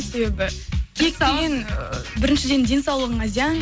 себебі кек деген біріншіден денсаулығыңа зиян